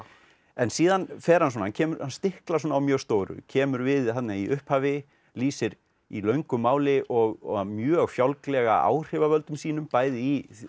en síðan fer hann svona hann stiklar á mjög stóru kemur við í upphafi lýsir í löngu máli og mjög fjálglega áhrifavöldum sínum bæði í